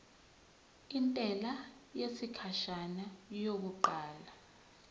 intela yesikhashana yokuqala